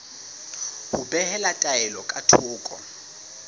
ho behela taelo ka thoko